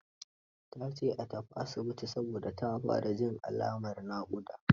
Ta ce a tafi asibiti, saboda ta fara jin alamin naƙuda.